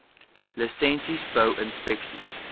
lisensies bou inspeksies